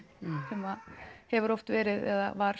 sem hefur oft verið eða var